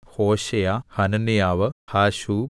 Hosea Hananiah Hasshub